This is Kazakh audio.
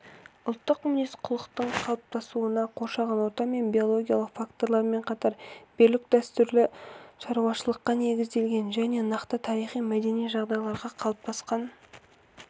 ұлттық мінез-құлықтың қалыптасуына қоршаған орта мен биологиялық фактормен қатар берік дәстүрлі шаруашылыққа негізделген және нақты тарихи-мәдени жағдайларда қалыптасқан